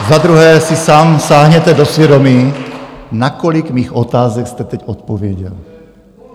Za druhé si sám sáhněte do svědomí, na kolik mých otázek jste teď odpověděl.